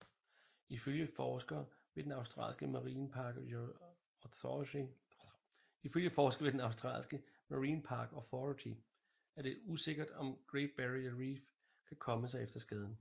Ifølge forskere ved den australske Marine Park Authority er det usikkert om Great Barrier Reef kan komme sig efter skaden